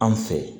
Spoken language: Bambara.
An fɛ